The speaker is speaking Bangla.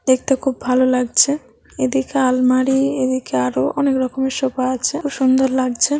দেখতে খুব ভালো লাগছে। এদিকে আলমারি এদিকে আরো অনেক রকমের সোফা আছে। সুন্দর লাগছে।